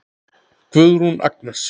Guðrún Agnes.